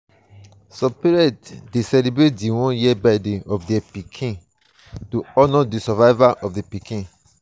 some parents de celebrate di one year birthday of their pikin to honor the survival of di pikin